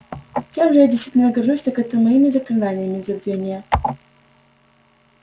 чем же я действительно горжусь так это моими заклинаниями забвения